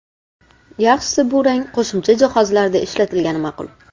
Yaxshisi, bu rang qo‘shimcha jihozlarda ishlatilgani ma’qul.